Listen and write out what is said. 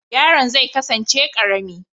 Yaron zai kasance karami